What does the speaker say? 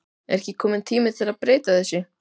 Er ekki kominn tími að breyta þessu?